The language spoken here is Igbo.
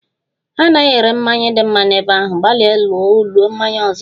Ha anaghị ere mmanya dị mma n'ebe ahụ, gbalịa ulo mmanya ọzọ